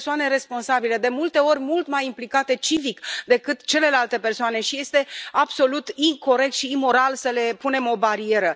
Sunt persoane responsabile, de multe ori mult mai implicate civic decât celelalte persoane și este absolut incorect și imoral să le punem o barieră.